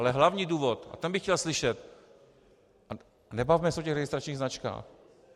Ale hlavní důvod a ten bych chtěl slyšet - nebavme se o těch registračních značkách.